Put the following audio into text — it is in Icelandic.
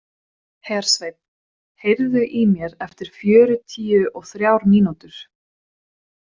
Hersveinn, heyrðu í mér eftir fjörutíu og þrjár mínútur.